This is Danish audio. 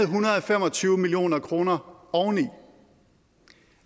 hundrede og fem og tyve million kroner oveni og